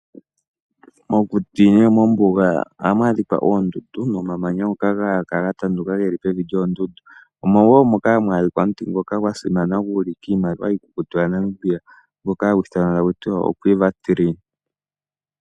Mokuti nenge mombuga ohamu adhikwa oondundu nomamanya ngoka haga kala ga tanduka geli pevi lyoondundu omo wo moka hamu adhika omuti ngoka gwa simana hagu ulike iimaliwa iikukutu ya Namibia ngoka hagu ithanwa akuti queve tree.